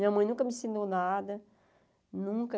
Minha mãe nunca me ensinou nada, nunca.